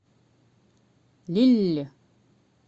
лилль